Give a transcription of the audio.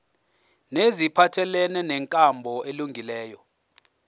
neziphathelene nenkambo elungileyo